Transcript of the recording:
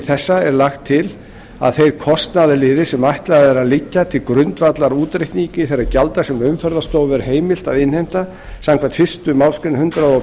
þessa er lagt til að þeir kostnaðarliðir sem ætlað er að liggja til grundvallar útreikningi þeirra gjalda sem umferðarstofu er heimilt að innheimta samkvæmt fyrstu málsgrein hundrað og